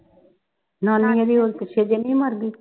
ਨਾਨੀ ਏਦੀ ਓ ਪਿੱਛੇ ਜੋ ਨੀ ਮਰ ਗਈ